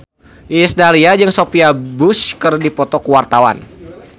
Iis Dahlia jeung Sophia Bush keur dipoto ku wartawan